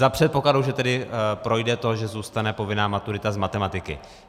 Za předpokladu, že tedy projde to, že zůstane povinná maturita z matematiky.